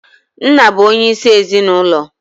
Nna bụ onye isi ezinaụlọ